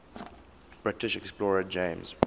british explorer james